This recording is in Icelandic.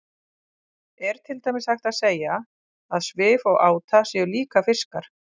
Er til dæmis hægt að segja að svif og áta séu líka fiskar?